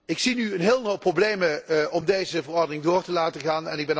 Ik zie nu een hele hoop problemen om deze verordening door te laten gaan.